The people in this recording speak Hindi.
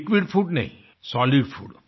लिक्विड फूड नही सोलिड फूड